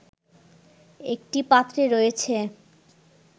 একটি পাত্রে রয়েছে